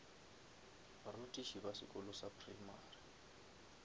barutiši ba sekolo sa primary